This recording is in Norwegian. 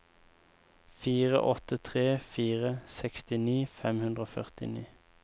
fire åtte tre fire sekstini fem hundre og førtini